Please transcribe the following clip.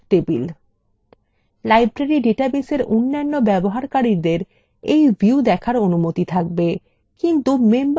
library ডাটাবেসএর অন্যান্য ব্যবহারকারীদের এই view দেখার অনুমতি থাকবে কিন্তু members tablethe দেখার অনুমতি থাকবে না